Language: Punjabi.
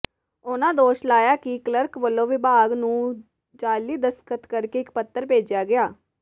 ਉਨ੍ਹਾਂ ਦੋਸ਼ ਲਾਇਆ ਕਿ ਕਲਰਕ ਵੱਲੋਂ ਵਿਭਾਗ ਨੂੰ ਜਾਅਲੀ ਦਸਖ਼ਤ ਕਰਕੇ ਇਕ ਪੱਤਰ ਭੇਜਿਆ ਗਿਆ